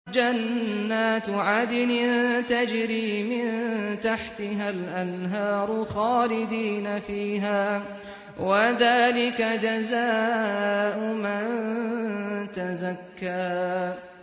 جَنَّاتُ عَدْنٍ تَجْرِي مِن تَحْتِهَا الْأَنْهَارُ خَالِدِينَ فِيهَا ۚ وَذَٰلِكَ جَزَاءُ مَن تَزَكَّىٰ